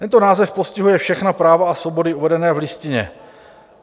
Tento název postihuje všechna práva a svobody uvedené v Listině.